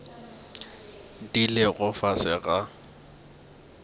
di lego ka fase ga